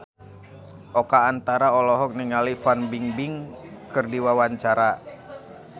Oka Antara olohok ningali Fan Bingbing keur diwawancara